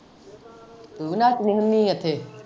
ਤੂੰ ਵੀ ਨੱਚਦੀ ਹੁੰਨੀ ਏ ਉੱਥੇ।